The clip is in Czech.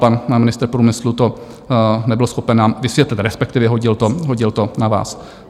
Pan ministr průmyslu to nebyl schopen nám vysvětlit, respektive hodil to na vás.